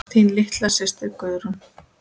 Þín litla systir Guðrún.